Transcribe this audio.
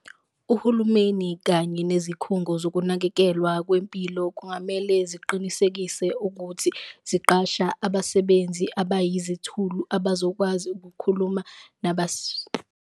Uhulumeni kanye nezikhungo zokunakekelwa kwempilo kungamele ziqinisekise ukuthi ziqasha abasebenzi abayizithulu, abazokwazi ukukhuluma .